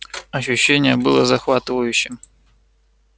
ощущение было захватывающим